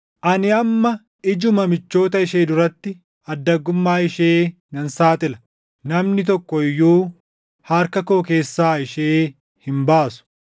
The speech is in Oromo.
Ani amma ijuma michoota ishee duratti addaggummaa ishee nan saaxila; namni tokko iyyuu harka koo keessaa ishee hin baasu.